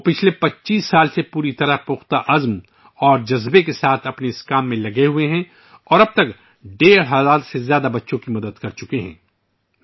وہ گزشتہ 25 سالوں سے پوری لگن کے ساتھ ، اس کام میں مصروف ہیں اور اب تک 1500 سے زائد بچوں کی مدد کر چکے ہیں